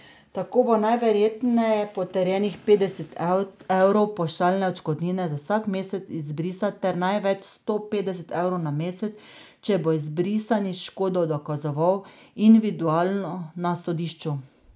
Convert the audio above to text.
Tako bo najverjetneje potrjenih petdeset evrov pavšalne odškodnine za vsak mesec izbrisa ter največ sto petdeset evrov na mesec, če bo izbrisani škodo dokazoval individualno, na sodišču.